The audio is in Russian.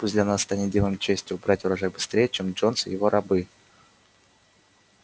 пусть для нас станет делом чести убрать урожай быстрее чем джонс и его рабы